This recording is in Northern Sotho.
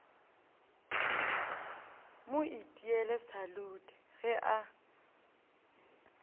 mo itiele salute ge a